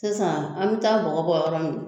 Sisan an bɛ taa bɔgɔ bɔ yɔrɔ min